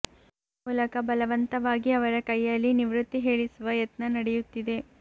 ಈ ಮೂಲಕ ಬಲವಂತವಾಗಿ ಅವರ ಕೈಯಲ್ಲಿ ನಿವೃತ್ತಿ ಹೇಳಿಸುವ ಯತ್ನ ನಡೆಯುತ್ತಿದೆ